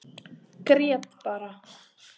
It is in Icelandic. Grét bara.